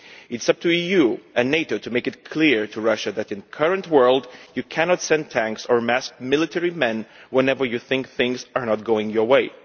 It is up to the EU and NATO to make it clear to Russia that in the current world you cannot send tanks or amass military forces whenever you think things are not going your way.